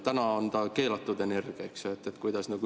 Täna on see keelatud energia.